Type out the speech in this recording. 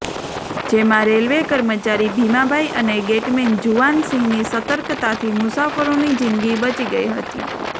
જેમાં રેલવે કર્મચારી ભીમાભાઇ અને ગેટમેન જુવાનસિંહની સતર્કતાથી મુસાફરોની જિંદગી બચી ગઇ હતી